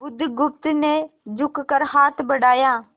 बुधगुप्त ने झुककर हाथ बढ़ाया